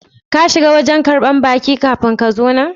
Kin shiga wajen karban baki kafi kin zo nan?